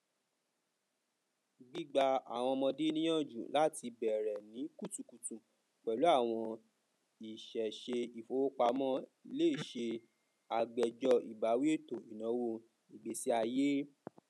gbigbà àwọn ọmọde ní ìyàǹjú láti bẹrẹ ní kutukutu pẹlú àwọn ìṣèṣe ìfowópamọ lè ṣe àgbéjọ ìbáwí ètò ìnáwó ìgbésíayé